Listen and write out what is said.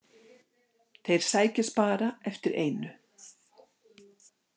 Þeir sækjast bara eftir einu.